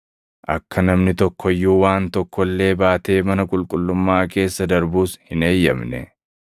Akka namni tokko iyyuu waan tokko illee baatee mana qulqullummaa keessa darbus hin eeyyamne.